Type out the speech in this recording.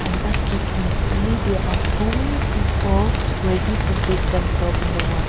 unless we can see they are so many people ready to dip themselves in the water.